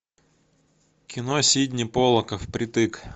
кино сидни поллака впритык